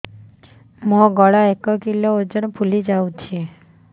ମୋ ଗଳା ଏକ କିଲୋ ଓଜନ ଫୁଲି ଯାଉଛି